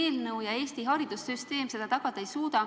See eelnõu ja Eesti haridussüsteem seda tagada ei suuda.